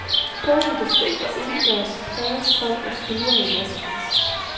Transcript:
Både i det fri og indendørs plages folk af fluer i massevis.